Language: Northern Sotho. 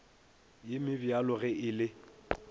ye mebjalo ge e le